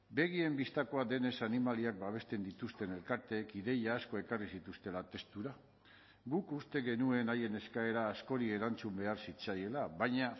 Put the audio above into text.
begien bistakoa denez animaliak babesten dituzten elkarteek ideia asko ekarri zituztela testura guk uste genuen haien eskaera askori erantzun behar zitzaiela baina